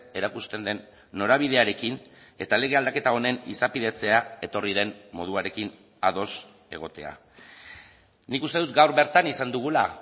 erakusten den norabidearekin eta lege aldaketa honen izapidetzea etorri den moduarekin ados egotea nik uste dut gaur bertan izan dugula